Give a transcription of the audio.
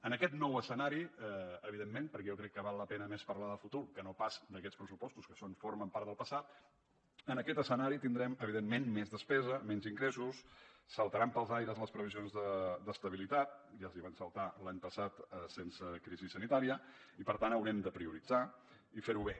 en aquest nou escenari evidentment perquè jo crec que val la pena més parlar de futur que no pas d’aquests pressupostos que formen part del passat en aquest escenari tindrem evidentment més despesa menys ingressos saltaran pels aires les previsions d’estabilitat ja hi van saltar l’any passat sense crisi sanitària i per tant haurem de prioritzar i fer ho bé